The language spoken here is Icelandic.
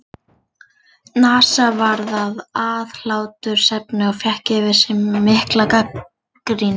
NASA varð að aðhlátursefni og fékk yfir sig mikla gagnrýni.